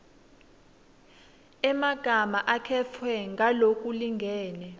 emagama akhetfwe ngalokulingene